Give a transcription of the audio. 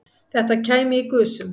Þetta kæmi í gusum